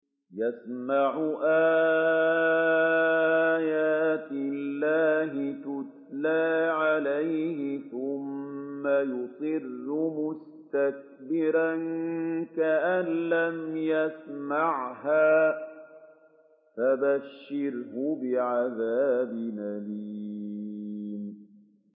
يَسْمَعُ آيَاتِ اللَّهِ تُتْلَىٰ عَلَيْهِ ثُمَّ يُصِرُّ مُسْتَكْبِرًا كَأَن لَّمْ يَسْمَعْهَا ۖ فَبَشِّرْهُ بِعَذَابٍ أَلِيمٍ